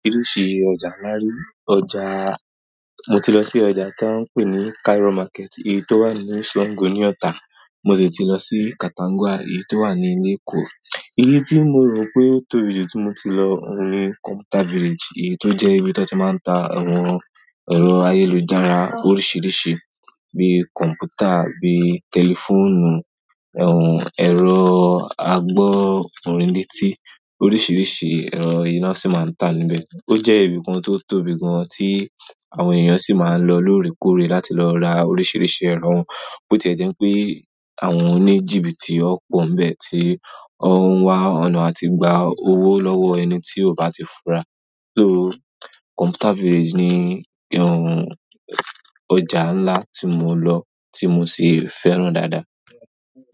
Oríṣìí ọjà ńlá rí, ọjàà, mo ti lọ sí ọjà tá ń pè ní Cairo market èyí tó wà ní Sango ní Ota, mo sì ti lọ sí Katangwa èyí tó wà ní Eko èyí tí mo rò pé o tóbi jù tí mo ti lọ ń ri computer village èyí tó jẹ́ ibi tí wọ́n ti máa ń ta àwọn ẹ̀rọ ayélujára oríṣìíríṣìí bíi kọ̀m̀pútà, bíi tẹlifóònù, àwọn ẹ̀rọ àgbọ̀ orin ní etí, oríṣìíríṣìí ẹ̀rọ i ná sì máa ń tà níbẹ̀. Ó jẹ́ ibìkan tó tóbi gan an tí àwọn èèyàn sì máa ń lọ lóòrèkóòrè láti lọ ra oríṣìíríṣìí ẹ̀rọ. Bi ti e je wípé àwọn oni jibiti won po ni ti won un wa ọ̀nà àti gba ow lowo ẹni ti o ba ti fura. So computer village ni ọjà ńlá tí mo lọ tí mo sì fẹ́ràn dáadáa.